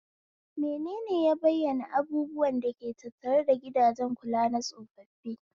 Menene ya bayyana abubuwan da ke tattare da gidajen kula na tsofaffi?